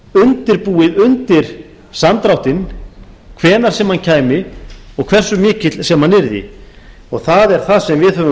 undirbúið undir samdráttinn hvenær sem hann kæmi og hversu mikill sem hann að það er það sem við höfum